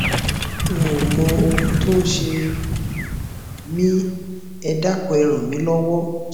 n ò mọ ohun tó ń ṣe um mí ẹ dákun ẹ ràn mí lọwọ